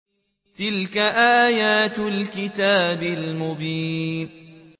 تِلْكَ آيَاتُ الْكِتَابِ الْمُبِينِ